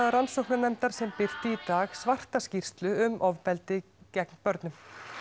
rannsóknarnefndar sem birti í dag svarta skýrslu um ofbeldi gegn börnum